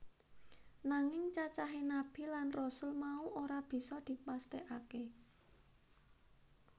Nanging cacahé Nabi lan Rasul mau ora bisa dipesthèkaké